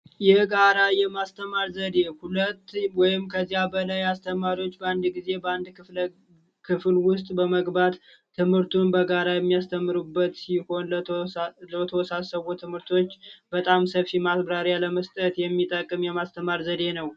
የጋራ የማስተማር ዘዴ ሁለት ወይንም ከዚያ በላይ አስተማሪዎች በአንድ ጊዜ በአንድ ክፍል ውስጥ በመግባት ትምህርቱን በጋራ የሚያስተምሩበት ሲሆን ለተወሳሰቡ ትምህርቶች በጣም ሰፊ ማብራሪያ መስጠት የሚጠቅም የማስተማር ዘዴ ነው።